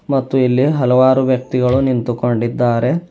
ಮತ್ತು ಇಲ್ಲಿ ಹಲವಾರು ವ್ಯಕ್ತಿಗಳು ನಿಂತುಕೊಂಡಿದ್ದಾರೆ.